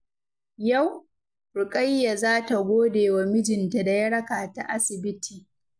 Yau, Rukayya za ta gode wa mijinta da ya raka ta asibiti.